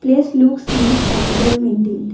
Place looks neat and well maintained